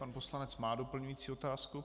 Pan poslanec má doplňující otázku.